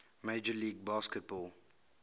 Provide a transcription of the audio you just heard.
major league baseball